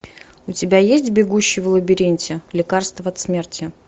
у тебя есть бегущий в лабиринте лекарство от смерти